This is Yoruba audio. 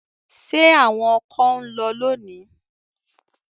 Ṣé àwọn ọkọ ń lọ lónìí?